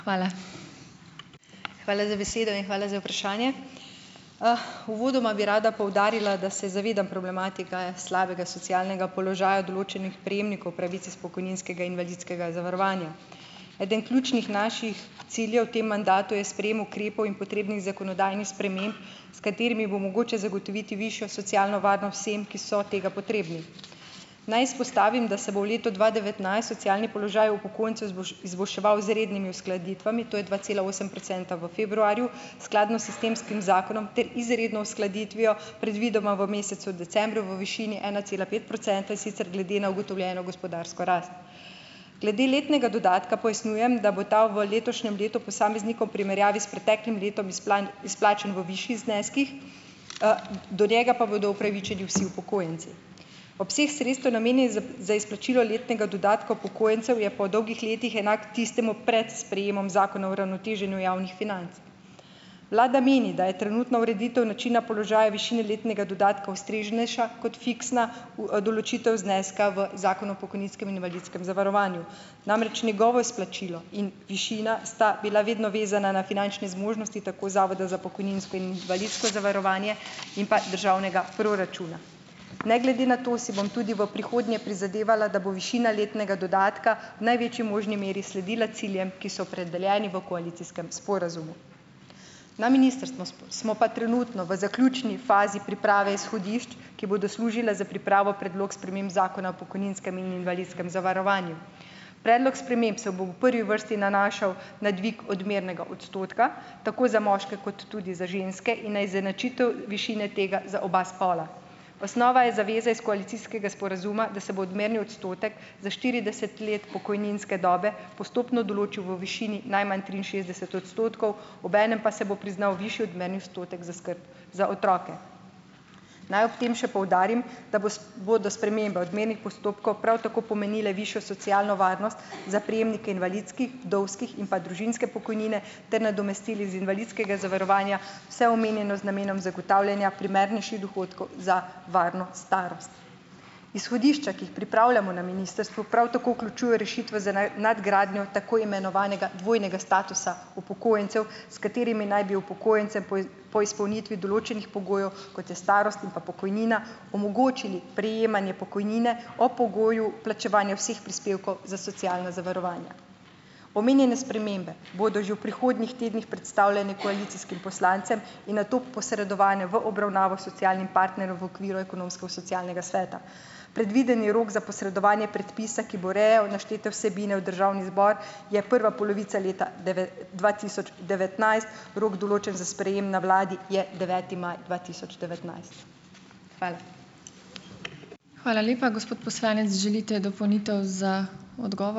Hvala za besedo in hvala za vprašanje. Uvodoma bi rada poudarila, da se zavedam problematike slabega socialnega položaja določenih prejemnikov pravic iz pokojninskega invalidskega zavarovanja. Eden ključnih naših ciljev v tem mandatu je sprejem ukrepov in potrebnih zakonodajnih sprememb, s katerimi bo mogoče zagotoviti višjo socialno varnost vsem, ki so tega potrebni. Naj izpostavim, da se bo v letu dva devetnajst socialni položaj upokojencev izboljševal z rednimi uskladitvami, to je dva cela osem procenta v februarju, skladno s sistemskim zakonom ter izredno uskladitvijo predvidoma v mesecu decembru v višini ena cela pet procenta, in sicer glede na ugotovljeno gospodarsko rast. Glede letnega dodatka pojasnjujem, da bo ta v letošnjem letu posameznikom v primerjavi s preteklim letom izplačan v višjih zneskih, do njega pa bodo upravičeni vsi upokojenci. Obseg sredstev, namenjen za izplačilo letnega dodatka upokojencev, je po dolgih letih enak tistemu pred sprejemom Zakona o uravnoteženju javnih financ. Vlada meni, da je trenutna ureditev načina položaja višine letnega dodatka ustreznejša kot fiksna v, določitev zneska v Zakonu o pokojninskem in invalidskem zavarovanju, namreč njegovo izplačilo in višina sta bila vedno vezana na finančne zmožnosti tako Zavoda za pokojninsko in invalidsko zavarovanje in pa državnega proračuna. Ne glede na to si bom tudi v prihodnje prizadevala, da bo višina letnega dodatka v največji možni meri sledila ciljem, ki so opredeljeni v koalicijskem sporazumu. Na ministrstvo smo pa trenutno v zaključni fazi priprave izhodišč, ki bodo služila za pripravo Predloga sprememb Zakona o pokojninskem in invalidskem zavarovanju. Predlog sprememb se bo v prvi vrsti nanašal na dvig odmernega odstotka, tako za moške kot tudi za ženske, in na izenačitev višine tega za oba spola. Osnova je zaveza iz koalicijskega sporazuma, da se bo odmerni odstotek za štirideset let pokojninske dobe postopno določil v višini najmanj triinšestdeset odstotkov, obenem pa se bo priznal višji odmerni odstotek za skrb za otroke. Naj ob tem še poudarim, da bodo spremembe odmernih postopkov prav tako pomenile višjo socialno varnost za prejemnike invalidskih, vdovskih in pa družinske pokojnine ter nadomestil iz invalidskega zavarovanja, vse omenjeno z namenom zagotavljanja primernejših dohodkov za varno starost. Izhodišča, ki jih pripravljamo na ministrstvu, prav tako vključujejo rešitve za nadgradnjo tako imenovanega dvojnega statusa upokojencev, s katerimi naj bi upokojence po izpolnitvi določenih pogojev, kot je starost in pa pokojnina, omogočili prejemanje pokojnine o pogoju plačevanja vseh prispevkov za socialno zavarovanje. Omenjene spremembe bodo že v prihodnjih tednih predstavljene koalicijskim poslancem in nato posredovane v obravnavo socialnim partnerjem v okviru ekonomsko-socialnega sveta. Predvideni rok za posredovanje predpisa, ki bo urejal naštete vsebine v državni zbor, je prva polovica leta dva tisoč devetnajst, rok določen za sprejem na vladi je deveti maj dva tisoč devetnajst. Hvala.